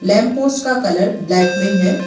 Lamp post का colour black में है।